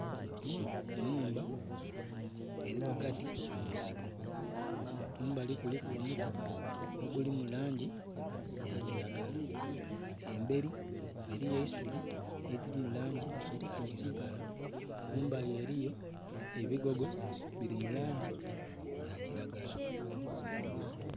Enhumba erighagati munsiko kumbali kuliku omuti oguli mulangi ya kiragala. Emberi eriyo eisuubi eriri mu langi ya kiragala. Kumbali eriyo ebigogo birimulangi ya kiragala